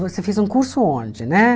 Você fez um curso onde, né?